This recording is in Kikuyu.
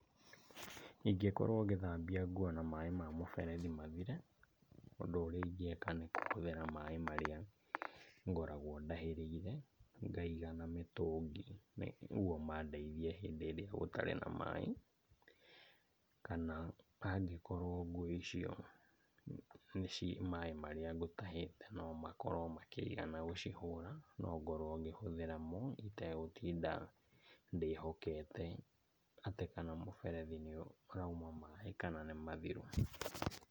Ingĩkorwo ngĩthambia nguo na maĩ ma mũberethi mathire, ũndũ ũrĩa ingĩka nĩ kũhũthĩra maĩ marĩa ngoragwo ndahĩrĩire ngaiga na mĩtũngi nĩguo mandeithie hĩndĩ ĩrĩa gũtarĩ na maĩ. Kana angĩkorwo nguo icio nĩci, maĩ marĩa ngũtahĩte nomakorwo makĩigana gũcihũra, nongorwo ngĩhũthĩra mo, itegũtinda ndĩhokete atĩ kana mũberethi nĩũrauma maĩ kana nĩ mathiru.